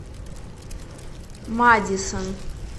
мадисон